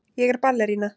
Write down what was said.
Ég er ballerína.